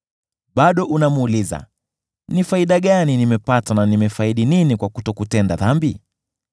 Bado unamuuliza, ‘Ni faida gani nimepata, na imenifaidi nini kwa kutokutenda dhambi?’